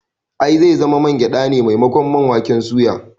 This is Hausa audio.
I, zai zama man gyade ne maimakon man waken suya